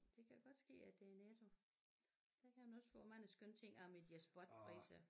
Det kan godt ske at det er Netto der kan man også få mange skønne ting omme i de der spotpriser